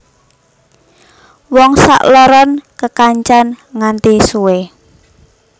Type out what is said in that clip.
Wong sakloron kekancan nganti suwe